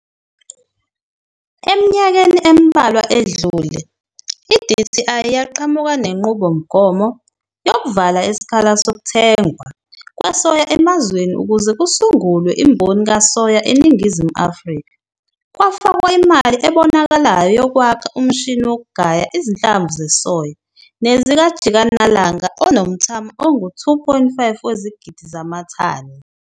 Eminyakeni embalwa edlule i-DTI yaqhamuka nenqubomgomo yokuvala isikhala sokuthengwa kwesoya emazweni ukuze kusungulwe imboni kasoya eNingizimu Afrika. Kwafakwa imali ebonakalayo yokwakha umshini wokugaya izinhlamvu zesoya nezikajikanlanga, onomthamo ongu-2,5 wezigidi zamathani.